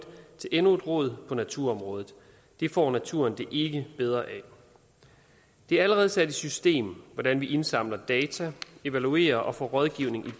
til endnu et råd på naturområdet det får naturen det ikke bedre af det er allerede sat i system hvordan vi indsamler data evaluerer og får rådgivning